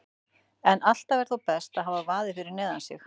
En alltaf er þó best að hafa vaðið fyrir neðan sig.